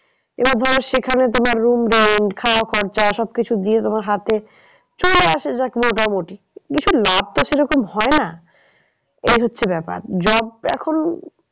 এবার ধরো সেখানে তোমার room rent খাওয়া খরচা সব কিছু দিয়ে তোমার হাতে চলে আসে যাক মোটামুটি। ভীষণ লাভ তো সেরকম হয় না। এই হচ্ছে ব্যাপার job এখন